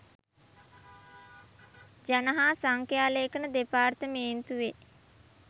ජන හා සංඛ්‍යාලේඛන දෙපාර්තමේන්තුවේ